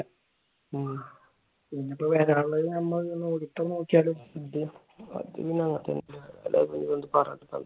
ഉം പിന്നെ ഇപ്പൊ വരാനുള്ളത് നമ്മൾ നോക്കിയാലും അത് പിന്നെ അങ്ങനെ തന്നെയല്ലേ വരൂ. അതിപ്പോ പിന്നെ പറഞ്ഞിട്ട് എന്താ കാര്യം.